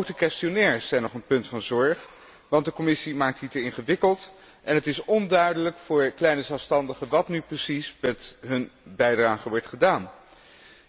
Ook de vragenlijsten zijn nog een punt van zorg, want de Commissie maakt die te ingewikkeld en het is onduidelijk voor kleine zelfstandigen wat nu precies met hun bijdrage wordt gedaan.